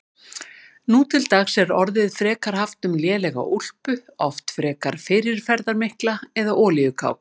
Nú til dags er orðið frekar haft um lélega úlpu, oft frekar fyrirferðarmikla, eða olíukápu.